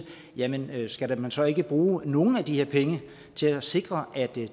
jamen skal man så ikke bruge nogle af de her penge til at sikre at det